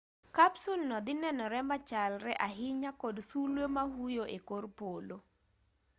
kapsul no dhi nenore machalre ahinya kod sulwe ma huyo e kor polo